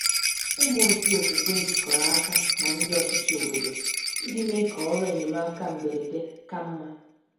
Ụmụ otu okwukwe jikọrọ aka na ndị ọchịchị obodo iji mee ka ọrụ enyemaka mberede ka mma.